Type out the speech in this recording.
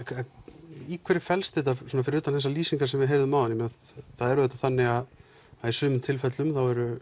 í hverju felst þetta fyrir utan þessar lýsingar sem við heyrðum áðan það er auðvitað þannig að í sumum tilfellum